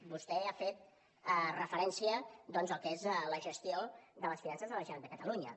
vostè ha fet referència al que és la gestió de les finances de la generalitat de catalunya